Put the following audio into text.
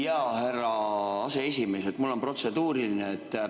Jaa, härra aseesimees, mul on protseduuriline.